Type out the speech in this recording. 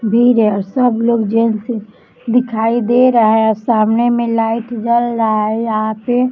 भीड है और सब लोग जेन्टस दिखाई दे रहा है और सामने मे लाईट जल रहा है यहा पे --